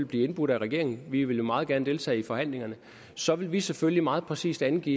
blive indbudt af regeringen vi vil meget gerne deltage i forhandlingerne så vil vi selvfølgelig meget præcist angive